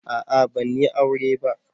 A'a ban yi aure ba.